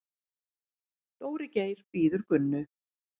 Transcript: Dóri Geir bíður Gunnu.